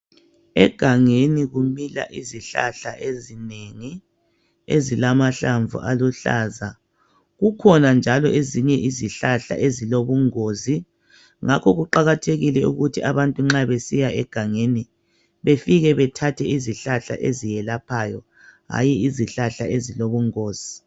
Egangeni kumila izihlahla ezinengi ezilamahlamvu aluhlaza. Kukhona njalo ezinye izihlahla ezilobungozi ngakho kuqakathekile ukuthi abantu nxa besiya egangeni befike bethathe izihlahla ezelaphayo hayi izihlahla ezilobungozi.